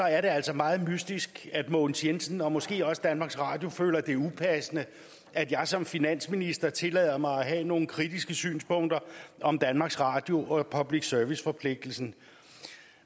er det altså meget mystisk at herre mogens jensen og måske også danmarks radio føler at det er upassende at jeg som finansminister tillader mig at have nogle kritiske synspunkter om danmarks radio og public service forpligtelsen